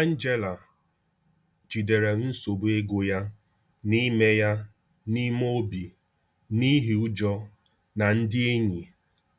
Angela jidere nsogbu ego ya n’ime ya n’ime obi n’ihi ụjọ na ndị enyi